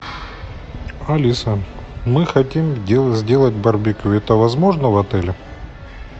алиса мы хотим сделать барбекю это возможно в отеле